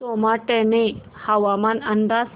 सोमाटणे हवामान अंदाज